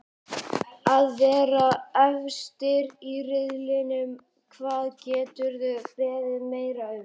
Að vera efstir í riðlinum, hvað geturðu beðið meira um?